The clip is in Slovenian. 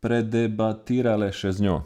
predebatirale še z njo.